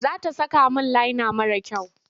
Za ta saka min laina mara kyau.